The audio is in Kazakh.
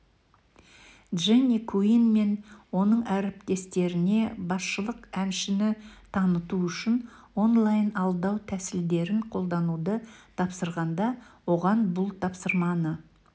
дженни куинн мен оның әріптестеріне басшылық әншіні таныту үшін онлайн-алдау тәсілдерін қолдануды тапсырғанда оған бұл тапсырманы